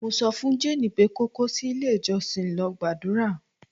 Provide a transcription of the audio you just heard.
mo sofun jane pe ko ko si ile ijosin lol gbadura